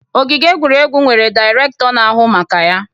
Ogige egwuregwu nwere Dairekto na ahụ maka ya